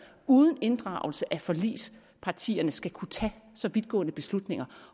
uden inddragelse af forligspartierne skal kunne tage så vidtgående beslutninger